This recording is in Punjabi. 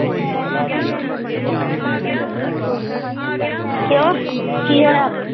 ਕਿਓ ਕੀ ਹੋਇਆ?